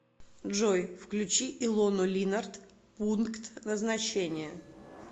джой включи илону линарт пункт назначения